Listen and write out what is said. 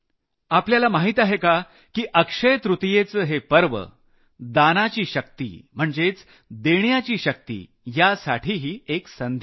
आपल्याला माहित आहे का की अक्षय तृतियेचं हे पर्व दानाची शक्ती म्हणजे देण्याची शक्ती यासाठीही एक संधी असते